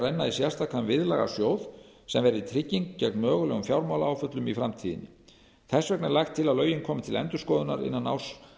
sérstakan viðlagasjóð sem verði trygging gegn mögulegum fjármálaáföllum í framtíðinni þess vegna er lagt til að lögin komi til endurskoðunar innan árs